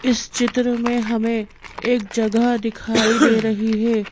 इस चित्र में हमें एक जगह दिखाई दे रही है।